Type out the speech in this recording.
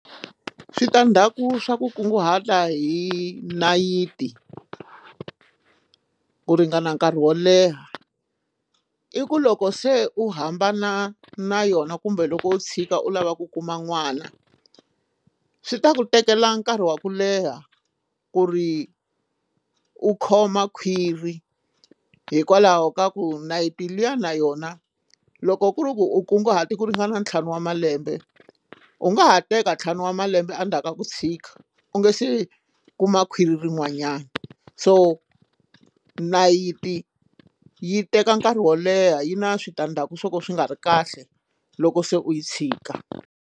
Switandzhaku swa ku kunguhata hi nayiti ku ringana nkarhi wo leha i ku loko se u hambana na yona kumbe loko u tshika u lava ku kuma n'wana swi ta ku tekela nkarhi wa ku leha ku ri u khoma khwiri hikwalaho ka ku nayiti liya na yona loko ku ri ku u kunguhata ku ringana ntlhanu wa malembe u nga ha teka ntlhanu wa malembe endzhaku ka ku tshika u nga se kuma khwiri rin'wanyana so nayiti yi teka nkarhi wo leha yi na switandzhaku swo ka swi nga ri kahle loko se u yi tshika.